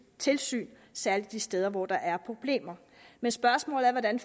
tilsyn særlig de steder hvor der er problemer men spørgsmålet er hvordan